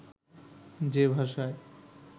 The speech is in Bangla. যে ভাষায়